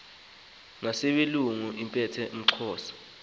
nezaselungu eziphethe umxhosa